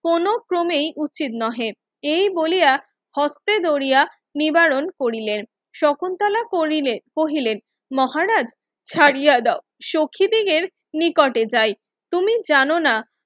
কোনো ক্রমে উচিত নহে এই বলিয়া হস্তে ধরিয়া নিবারণ করিলেন শকুন্তলা করিলে কহিলেন মহারাজ ছাড়িয়া দেও সখি দিগের নিকটে যাই তুমি জানোনা